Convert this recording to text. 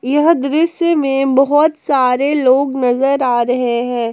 यह दृश्य में बहोत सारे लोग नजर आ रहे हैं।